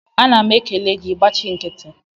Ana m ekele gị, ị gbachị nkịtị